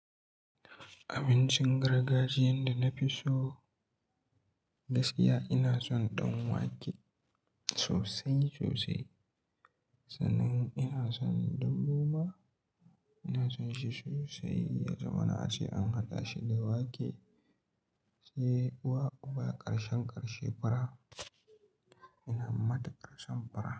Abincin gargajiyan da na fi so gaskiya ina son ban wake sosai sosai, sannan ina son dambu ma ina son shi sosai. Yaza mana ace an haɗa shi da wake say uwa uba ƙarshen ƙarshe fura. Ina matuƙar son fura.